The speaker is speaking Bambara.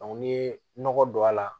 n'i ye nɔgɔ don a la